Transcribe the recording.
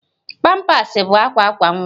Pampas bụ akwa akwa nwa